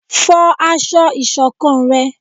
fọ aṣọ ìṣọ̀kan rẹ!